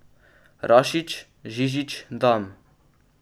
Rašić, Žižić , Dam.